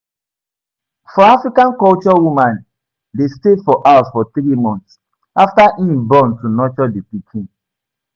For Afican culture woman de stay for house for three months after im born to nurture di pikin